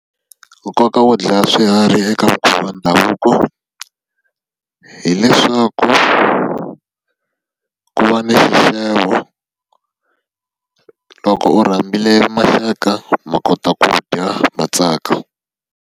Nkoka wo dlaya swiharhi eka mikhuva ya ndhavuko hileswaku, ku va ni xixevo. Loko u rhambile maxaka ma kota ku dya ma tsaka.